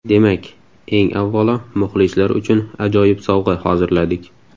Demak, eng avvalo muxlislar uchun ajoyib sovg‘a hozirladik.